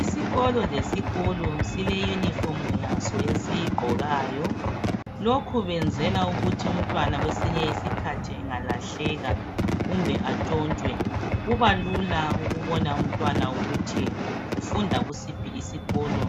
Isikolo lesikolo sile uniform yaso esiyigqokayo .Lokhu benzela ukuthi umntwana kwesinye isikhathi engalahleka kumbe atshontshwe .Kubalula ukubona umntwana ukuthi ufunda kusiphi isikolo